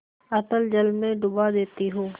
अतल जल में डुबा देती हूँ